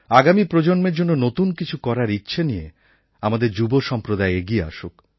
আগামী প্রজন্মের জন্য নতুন কিছু করার ইচ্ছা নিয়ে আমাদের যুব সম্প্রদায় এগিয়ে আসুক